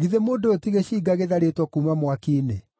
Githĩ mũndũ ũyũ ti gĩcinga gĩtharĩtwo kuuma mwaki-inĩ?”